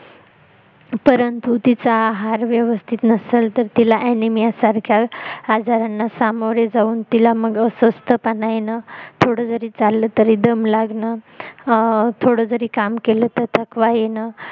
परंतु तिचा आहार व्यवस्थित नसेल तर तिला ANIMIA सारख्या आजारांना सामोरं जाऊन तिला मग अस्वस्थपणा येणं थोडजरी चालल तरी दम लागणं अं थोडजरी काम केलं तर थकवा येणं